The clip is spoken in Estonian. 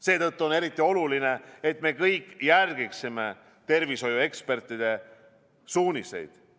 Seetõttu on eriti oluline, et me kõik järgiksime tervishoiuekspertide suuniseid.